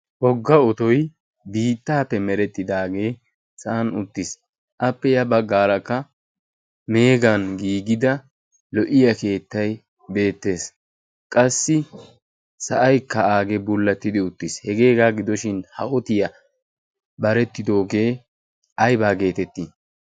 wogga otoy biittaappe merettidaagee sa'an uttiis. appe ya baggaarakka meegan giigida lo'iya keettai beettees qassi sa'aikka aagee bullattidi uttiis. hegeegaa gidoshin haotiyaa barettidoogee aibaa geetettii?